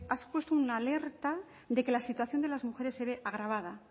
ha supuesto una alerta de que la situación de las mujeres se ve agravada